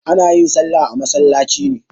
Ana yin salla a masallaci ne.